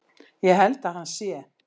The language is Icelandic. Ég held að hann sé.